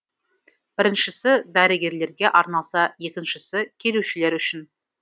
біріншісі дәрігерлерге арналса екіншісі келушілер үшін